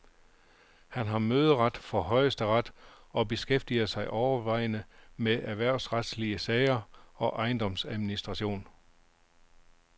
Han har møderet for højesteret og beskæftiger sig overvejende med erhvervsretslige sager og ejendomsadministration.